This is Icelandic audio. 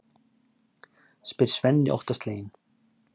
spyr Svenni óttasleginn.